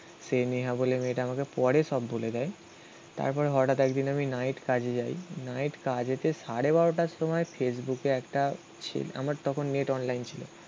সেই নেহা বলে মেয়েটা আমাকে পরে সব বলে দেয়. তারপরে হঠাৎ একদিন আমি নাইট কাজে যাই. নাইট কাজেতে সাড়ে বারোটার সময় ফেসবুকে একটা ছেলে. আমার তখন নেট অনলাইন ছিল